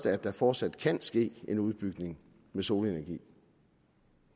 at der fortsat kan ske en udbygning af solenergi